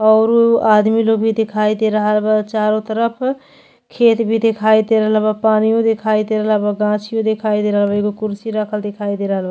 औरु आदमी लोग भी दिखाई दे रहल बा। चारों तरफ खेत भी दिखाई दे रहल बा। पानियो दिखाई दे रहल बा। गाछियो दिखाई दे रहल बा। एगो कुर्सी रखल दिखाई दे रहल बा।